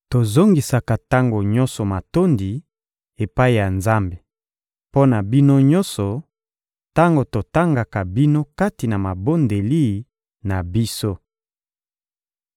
Tozongisaka tango nyonso matondi epai ya Nzambe mpo na bino nyonso tango totangaka bino kati na mabondeli na biso.